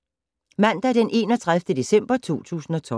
Mandag d. 31. december 2012